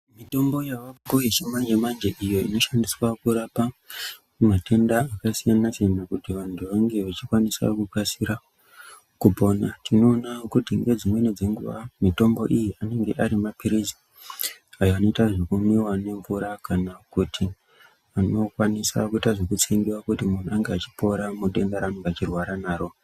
Mitombo yavako yechimanje-manje iyo inoshandiswa kurapa matenda akasiyana-siyana kuti vantu vange vechikwanisa kukasira kupona. Tinoona kuti nedzimweni dzenguva mitombo iyi anenge ari maphirizi anoita zvekumwiwa nemvura kana kuti anokwanisa kuita zvekutsengiwa kuti muntu ange achipora mudenda raanenge achirwara naro.